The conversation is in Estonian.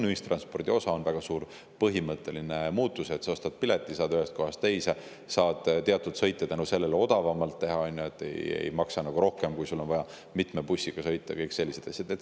Ühistranspordis on see väga suur põhimõtteline muutus, et sa ostad pileti ja saad ühest kohast teise ning sa saad teatud sõite odavamalt teha, ei maksa rohkem, kui sul on vaja mitme bussiga sõita, ja kõik sellised asjad.